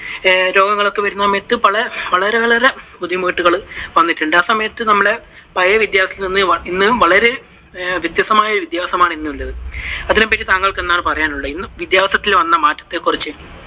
രോഗങ്ങളൊക്കെ വരുന്ന സമയത്തു വളരെ വളരെ ബുദ്ധിമുട്ടുകളും വന്നിട്ടുണ്ട്. ആ സമയത്തു നമ്മുടെ പഴയ വിദ്യാഭ്യാസത്തിൽ നിന്നും വളരെ വ്യത്യസ്തമായ വിദ്യാഭ്യാസം ആണ് ഇന്നുള്ളത്. അതിനെപ്പറ്റി താങ്കൾക്കു എന്താണ് പറയാനുള്ളത്? വിദ്യഭ്യാസത്തിൽ വന്ന മാറ്റത്തെ കുറിച്ച്